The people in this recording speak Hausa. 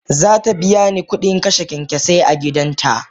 Zatabiyani kudin kashe kyankyasai a gidan ta.